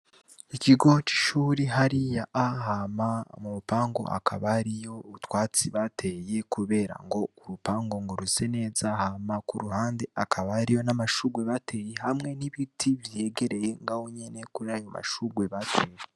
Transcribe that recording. Ikigo c'ishuri hariya, hama mu rupangu hakaba hariyo utwatsi bateye kubera ngo urupangu ngo ruse neza, hama ku ruhande hakaba hariyo n'amashurwe bateye hamwe n'ibiti vyegereye ngaho nyene kuri ayo mashurwe bateye.